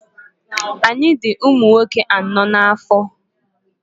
Anyị dị ụmụnwoke anọọ n'afọ.